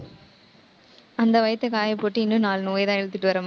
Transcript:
அந்த வயித்தை காயப்போட்டு இன்னும் நாலு நோயைதான் இழுத்துட்டு வர்றமாதி~